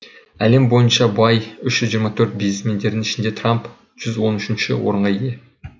әлем бойынша бай үш жүз жиырма төрт бизнесмендердің ішінде трамп жүз он үшінші орынға ие